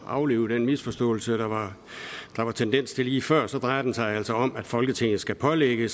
at aflive den misforståelse der var tendens til lige før så drejer det sig altså om at folketinget skal pålægge